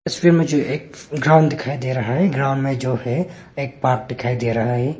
इस तस्वीर में जो है ग्राउंड दिखाई दे रहा है ग्राउंड में जो है एक पार्क दिखाई दे रहा है।